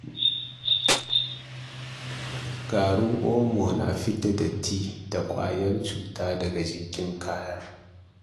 Garin omo na fidda datti da ƙwayar cuta daga jikin kaya.